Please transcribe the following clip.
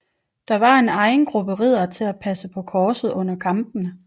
Der var en egen gruppe riddere til at passe på korset under kampene